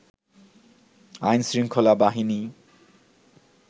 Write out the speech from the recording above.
আইনশৃঙ্খলা বাহিনী